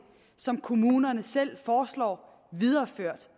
som kommunerne selv foreslår videreført